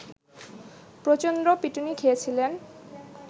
প্রচন্ড পিটুনি খেয়েছিলেন